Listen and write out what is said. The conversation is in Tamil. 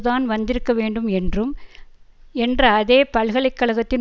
தான் வந்திருக்க வேண்டும் என்றும் என்ற அதே பல்கலை கழகத்தின்